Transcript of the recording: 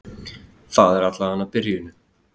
Það er allavega byrjun!